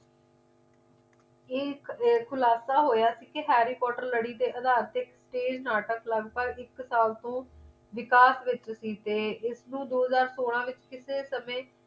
ਇਹ ਇੱਕ ਖੁਲਾਸਾ ਹੋਇਆ ਸੀ ਕਿ harry potter ਲੜੀ ਦੇ ਆਧਾਰ ਤੇ ਇੱਕ ਨਾਟਕ ਲੱਗ-ਭੱਗ ਇੱਕ ਸਾਲ ਤੋਂ ਵਿਕਾਸ ਦੇ ਵਿੱਚ ਹੀ ਤੇ ਇਸ ਨੂੰ ਦੋ ਹਜ਼ਾਰ ਸੋਲਾਂ ਦੇ ਵਿਚ ਕਿਸੇ ਸਮੇਂ